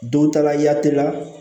Don ta la yatelila